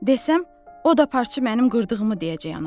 Desəm, o da Parçı mənim qırdığımı deyəcək anama.